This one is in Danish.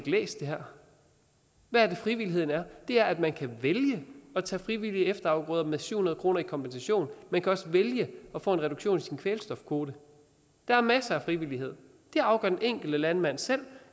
læst det her hvad er det frivilligheden er det er at man kan vælge at tage frivillige efterafgrøder med syv hundrede kroner i kompensation og man kan vælge at få en reduktion i sin kvælstofkvote der er masser af frivillighed det afgør den enkelte landmand selv